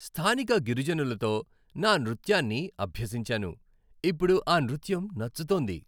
స్థానిక గిరిజనులతో నా నృత్యాన్ని అభ్యసించాను, ఇప్పుడు ఆ నృత్యం నచ్చుతోంది.